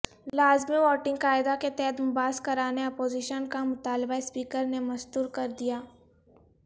لازمی ووٹنگ قاعدہ کے تحت مباحث کرانے اپوزیشن کا مطالبہ اسپیکر نے مستر کردیا